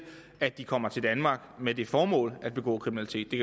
at de kommer til danmark med det formål at begå kriminalitet det